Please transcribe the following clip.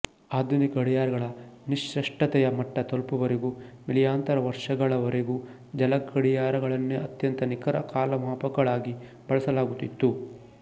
ಆಧುನಿಕ ಗಡಿಯಾರಗಳ ನಿಷ್ಕೃಷ್ಟತೆಯ ಮಟ್ಟ ತಲುಪುವವರೆಗೂ ಮಿಲಿಯಾಂತರ ವರ್ಷಗಳವರೆಗೂ ಜಲಗಡಿಯಾರಗಳನ್ನೇ ಅತ್ಯಂತ ನಿಖರ ಕಾಲಮಾಪಕಗಳಾಗಿ ಬಳಸಲಾಗುತ್ತಿತ್ತು